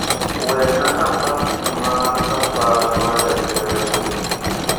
wena nafas mar safar mar gach reru